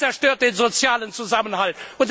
Das zerstört den sozialen Zusammenhalt!